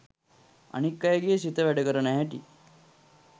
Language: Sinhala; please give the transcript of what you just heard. අනික් අයගෙ සිත වැඩ කරන හැටි